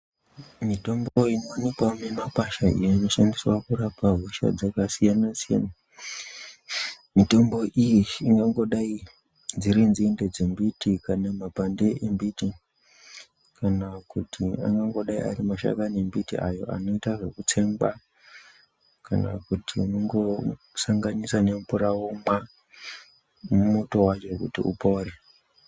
Mitombo inoonekwa mumakwasha ,iyo inoshandiswa kurapa hosha dzakasiyanasiyana mitombo iyi ingangodai dziri nzinde dzembiti, kana mapande embiti, kana kuti mashakani embiti anotsengwa ,kana kuti unongosanganisa nemvura womwa muto wacho kuti upore.